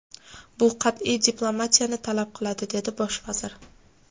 Bu qat’iy diplomatiyani talab qiladi”, dedi bosh vazir.